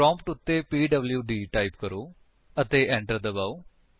prompt ਉੱਤੇ PWD type ਕਰੋ ਅਤੇ enter ਦਬਾਓ